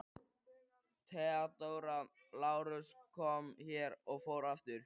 THEODÓRA: Lárus kom hér og fór aftur.